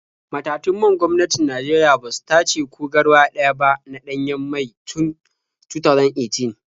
Matatun man gwamnatin Najeriya ba su tace ko garwa ɗaya ba na ɗanyen mai tun 2018.